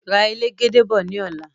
Ra elegede bọ̀ ní ọ̀la